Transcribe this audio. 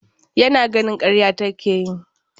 Yana ganin karya take yi.